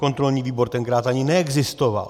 Kontrolní výbor tenkrát ani neexistoval.